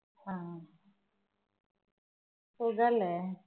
ഹും സുഖല്ലേ?